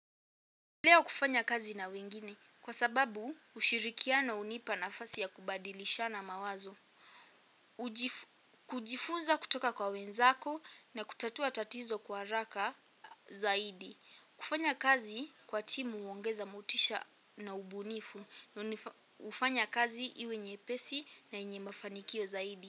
Leo kufanya kazi na wengine kwa sababu ushirikiano hunipa nafasi ya kubadilishana mawazo. Kujifunza kutoka kwa wenzako na kutatua tatizo kwa haraka zaidi. Kufanya kazi kwa timu huongeza motisha na ubunifu hufanya kazi iwe nyepesi na yenye mafanikio zaidi.